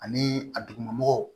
Ani a dugumɔgɔw